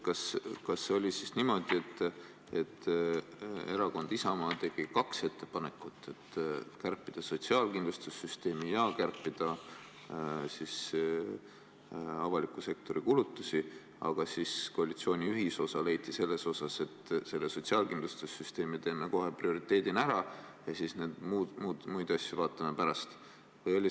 Kas see oli siis niimoodi, et Isamaa tegi kaks ettepanekut: kärpida sotsiaalkindlustussüsteemi ja kärpida avaliku sektori kulutusi, aga koalitsiooni ühisosana leiti, et selle sotsiaalkindlustussüsteemi kärpe teeme kohe prioriteedina ära ja muid asju vaatame pärast?